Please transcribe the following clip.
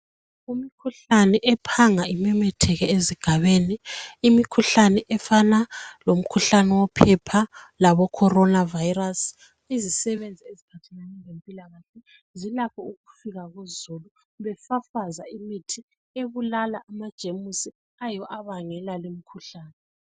Imikhuhlane ephanga imemetheke ezigabeni. Imikhuhlane efana lomkhuhlane wophepha, laboCorona virus. Izisebenzi eziphathelane iezempilakahle, zilakho ukufika kuzulu. Befafaza imithi ebulala amajemusi, ayiwo abangela lumkhuhlane.